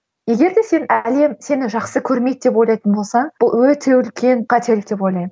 егер де сен әлем сені жақсы көрмейді деп ойлайтын болсаң бұл өте үлкен қателік деп ойлаймын